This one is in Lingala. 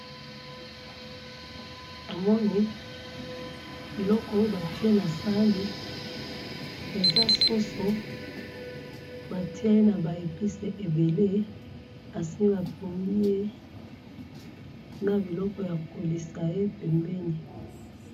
namoni biloko batiye nasahani eza soso batiye naba epice ebele esi batumbi ye na biloko ya koliyesa pembeni